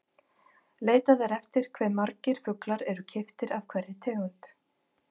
Leitað er eftir hve margir fuglar eru keyptir af hverri tegund.